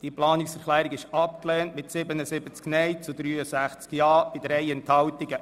Diese Planungserklärung ist abgelehnt worden mit 77 Nein- gegen 63 Ja-Stimmen bei 3 Enthaltungen.